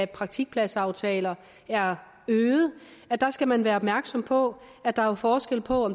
praktikpladsaftaler er øget skal man være opmærksom på at der er forskel på